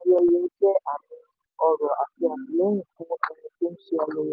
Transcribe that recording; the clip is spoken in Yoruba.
níná owó ní ayẹyẹ jẹ́ àmì ọrọ̀ àti àtìlẹ́yìn fún ẹni tó ń ṣe ayẹyẹ.